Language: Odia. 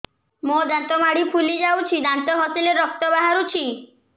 ମୋ ଦାନ୍ତ ମାଢି ଫୁଲି ଯାଉଛି ଦାନ୍ତ ଘଷିଲେ ରକ୍ତ ବାହାରୁଛି